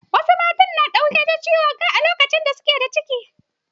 Wasu mata kan kamu da ciwon kai lokacin da suke da ciki.